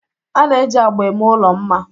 a na-eji agba eme ụlọ mma